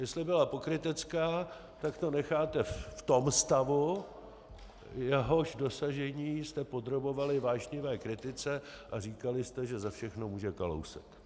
Jestli byla pokrytecká, tak to necháte v tom stavu, jehož dosažení jste podrobovali vášnivé kritice, a říkali jste, že za všechno může Kalousek.